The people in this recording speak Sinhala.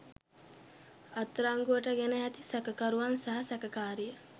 අත්අඩංගුවට ගෙන ඇති සැකකරුවන් සහ සැකකාරිය